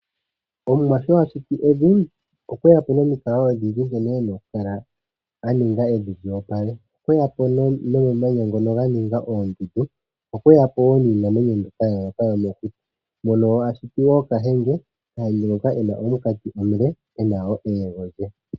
Omuwa sho ashiti evi okweyapo nominkalo odhindji nkene ena okukala aninga evi lyopale, okweyapo nomamanya ngono nganinga ondundu, okweyapo wo ninamwenyo mbyoka yayoloka yomokuti, mono ashiti wo kahenge ngoka ena omikati omule ena wo eyengo lye.